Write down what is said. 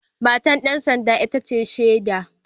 Matar ‘yar sanda ita ce shaida